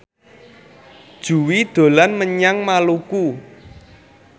Jui dolan menyang Maluku